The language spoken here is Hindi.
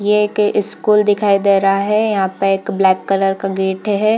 ये एक स्कूल दिखाई दे रहा है यहाँ पे एक ब्लैक कलर का गेट है ।